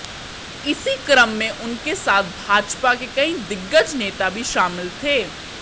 इसी क्रम में उनके साथ भाजपा के कई दिग्गज नेता भी शामिल थे